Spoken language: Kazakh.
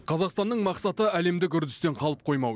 қазақстанның мақсаты әлемдік үрдістен қалып қоймау